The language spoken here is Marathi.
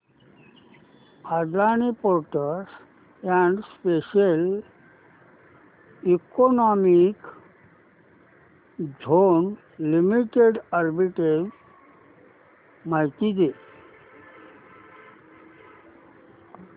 Adani ports and special economic zone limited arbitrage माहिती दे